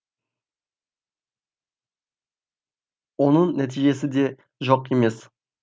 оның нәтижесі де жоқ емес